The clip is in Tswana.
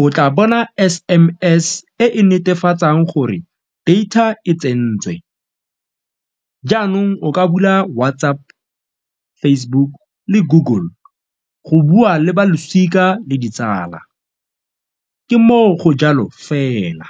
o tla bona S_M_S e e netefatsang gore data e tsentswe, jaanong o ka bula WhatsApp, Facebook le Google go bua le ba losika le ditsala ke moo go jalo fela.